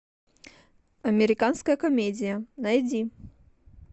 американская комедия найди